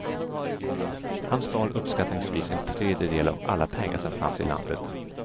Han stal uppskattningsvis en tredjedel av alla pengar som fanns i landet.